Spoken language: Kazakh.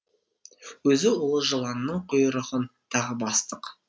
өзі улы жыланның құйрығын тағы бастық